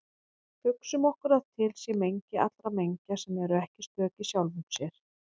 Hugsum okkur að til sé mengi allra mengja sem eru ekki stök í sjálfum sér.